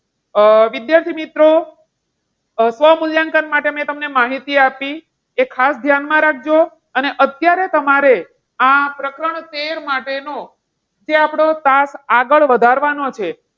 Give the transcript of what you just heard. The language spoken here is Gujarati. અ વિદ્યાર્થી મિત્રો સ્વમૂલ્યાંકન માટે મેં તમને માહિતી આપી તે ખાસ ધ્યાનમાં રાખજો. અને અત્યારે તમારે આ પ્રકરણ તેર માટેનું જે આપણો class આગળ વધારવાનો છે.